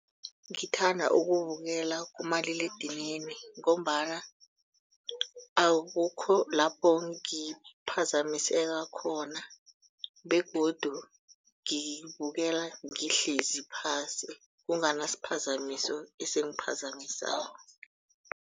Ngithanda ukuwubukela kumaliledinini ngombana akukho lapho ngiphazamiseka khona begodu ngibukela ngihlezi phasi kunganasiphazamiso esingiphazamisako.